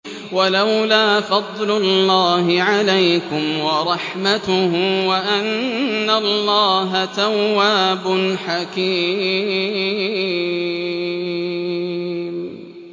وَلَوْلَا فَضْلُ اللَّهِ عَلَيْكُمْ وَرَحْمَتُهُ وَأَنَّ اللَّهَ تَوَّابٌ حَكِيمٌ